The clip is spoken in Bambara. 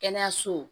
Kɛnɛyaso